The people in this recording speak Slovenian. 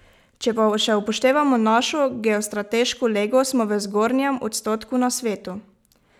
Če pa še upoštevamo našo geostrateško lego, smo v zgornjem odstotku na svetu.